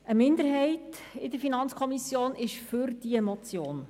Eine Minderheit der FiKo ist für die Motion.